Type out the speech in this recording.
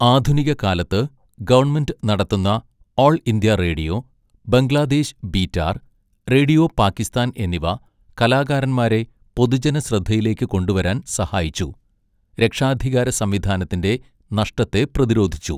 ആധുനിക കാലത്ത്, ഗവൺമെന്റ് നടത്തുന്ന all India radio, Bangladesh Betar, radio Pakistan എന്നിവ കലാകാരന്മാരെ പൊതുജനശ്രദ്ധയിലേക്ക് കൊണ്ടുവരാൻ സഹായിച്ചു, രക്ഷാധികാര സംവിധാനത്തിന്റെ നഷ്ടത്തെ പ്രതിരോധിച്ചു.